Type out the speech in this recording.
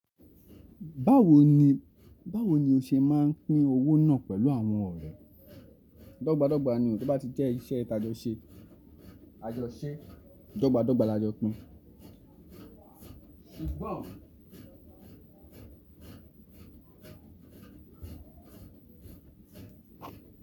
Báwo ni, báwo ni o ṣe máa pín owó náà pẹ̀lú àwọn ọ̀rẹ́? Dọ́gba dọ́gba ni o, tí ó bá ti jẹ́ iṣẹ́ taajọ ṣe. Àjọ se. Dọ́gba dọ́gba la jọ pin It's bomb.